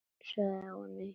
Gömul saga og ný.